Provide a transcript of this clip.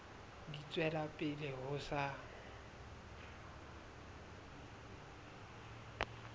di tswela pele ho sa